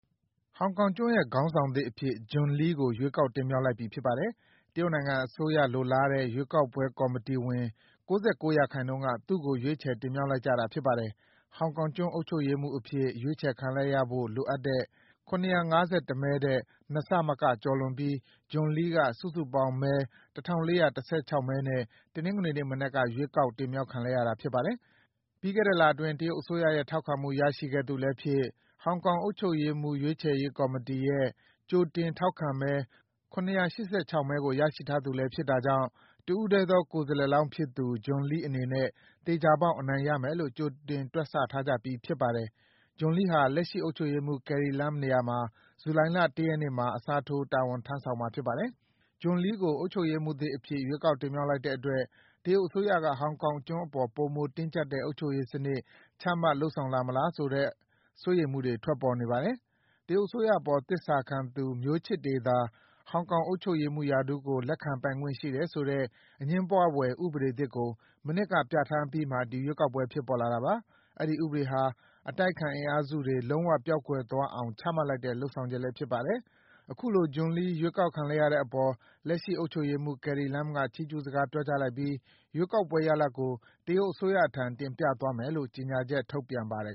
ဟောင်ကောင်ကျွန်းရဲ့ ခေါင်းဆောင်သစ်အဖြစ် John Lee ကို ရွေးကောက်တင်မြှောက်လိုက်ပြီ ဖြစ်ပါတယ်။ တရုတ်အစိုးရလိုလားတဲ့ ရွေးကောက်ပွဲကော်မတီဝင် ၉၉ ရာခိုင်နှုန်းက သူ့ကို ရွေးချယ်တင်မြှောက်လိုက်တာ ဖြစ်ပါတယ်။ ဟောင်ကောင်ကျွန်း အုပ်ချုပ်ရေးမှူးအဖြစ် ရွေးချယ်ခံရဖို့ လိုအပ်တဲ့ ၇၅၁ မဲထက် ၂ ဆမက ကျော်လွန်ပြီး John Lee က စုစုပေါင်းမဲ ၁,၄၁၆ မဲနဲ့ တနင်္ဂနွေနေ့မနက်က ရွေးကောက်တင်မြှောက်ခံလိုက်ရတာပါ။ ပြီးခဲ့တဲ့လအတွင်း တရုတ်အစိုးရရဲ့ ထောက်ခံမှု ရရှိခဲ့သူလည်းဖြစ်၊ ဟောင်ကောင်အုပ်ချုပ်ရေးမှူး ရွေးချယ်ရေးကော်မတီရဲ့ ကြိုတင်ထောက်ခံမဲ ၇၈၆ မဲကို ရရှိထားသူလည်း ဖြစ်တာကြောင့် တဦးတည်းသော ကိုယ်စားလှယ်လောင်းဖြစ်သူ John Lee အနေနဲ့ သေချာပေါက် အနိုင်ရမယ်လို့ ကြိုတင်တွက်ဆထားကြပြီး ဖြစ်ပါတယ်။ John Lee ဟာ လက်ရှိ အုပ်ချုပ်ရေးမှူး Carrie Lam နေရာမှာ ဇူလိုင်လ ၁ ရက်နေ့မှာ အစားထိုး တာဝန်ထမ်းဆောင်မှာ ဖြစ်ပါတယ်။ John Lee ကို အုပ်ချုပ်ရေးမှူးအသစ်အဖြစ် ရွေးကောက်တင်မြှောက်လိုက်တဲ့အတွက် တရုတ်အစိုးရက ဟောင်ကောင်ကျွန်းအပေါ် ပိုမိုတင်းကျပ်တဲ့ အုပ်ချုပ်ရေးစနစ် ချမှတ် လုပ်ဆောင်လာမလား ဆိုတဲ့အပေါ် စိုးရိမ်မှုတွေ ထွက်ပေါ်နေပါတယ်။ တရုတ်အစိုးရအပေါ် သစ္စာခံသူ မျိုးချစ်တွေသာ ဟောင်ကောင်အုပ်ချုပ်ရေးမှူးရာထူးကို လက်ခံပိုင်ခွင့်ရှိတယ်ဆိုတဲ့ အငြင်းပွားဖွယ် ဥပဒေသစ်ကို မနှစ်က ပြဋ္ဌာန်းအပြီးမှာ ဒီရွေးကောက်ပွဲ ဖြစ်ပေါ်လာတာပါ။ အဲဒီဥပဒေဟာ အတိုက်အခံအင်အားစုတွေ လုံးဝ ပျောက်ကွယ်သွားအောင် ချမှတ်လိုက်တဲ့ လုပ်ဆောင်ချက်လည်း ဖြစ်ပါတယ်။ အခုလို John Lee ရွေးကောက်ခံလိုက်ရတဲ့အပေါ် လက်ရှိအုပ်ချုပ်ရေးမှူး Carrie Lam က ချီးကျူးစကား ပြောကြားလိုက်ပြီး ရွေးကောက်ပွဲရလဒ်ကို တရုတ်အစိုးရထံ တင်ပြသွားမယ်လို့ ကြေညာချက် ထုတ်ပြန်ပါတယ်